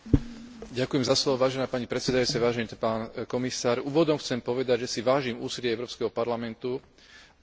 Úvodom chcem povedať, že si vážim úsilie Európskeho parlamentu o cielené postupné zlepšovanie postavenia žien v európskej spoločnosti.